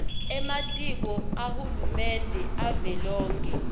ematiko ahulumende avelonkhe